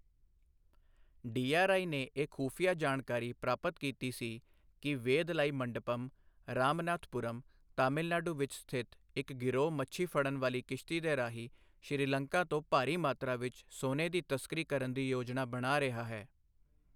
DRI ਨੇ ਇਹ ਖੁਫੀਆ ਜਾਣਕਾਰੀ ਪ੍ਰਾਪਤ ਕੀਤੀ ਸੀ ਕਿ ਵੇਧਲਾਈ ਮੰਡਪਮ, ਰਾਮਨਾਥਪੁਰਮ, ਤਾਮਿਲਨਾਡੂ ਵਿੱਚ ਸਥਿਤ ਇੱਕ ਗਿਰੋਹ ਮੱਛੀ ਫੜਨ ਵਾਲੀ ਕਿਸ਼ਤੀ ਦੇ ਰਾਹੀਂ ਸ਼੍ਰੀ ਲੰਕਾ ਤੋਂ ਭਾਰੀ ਮਾਤਰਾ ਵਿੱਚ ਸੋਨੇ ਦੀ ਤਸਕਰੀ ਕਰਨ ਦੀ ਯੋਜਨਾ ਬਣਾ ਰਿਹਾ ਹੈ।